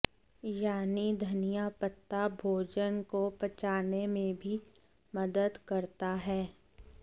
यानी धनिया पत्ता भोजन को पचाने में भी मदद करता है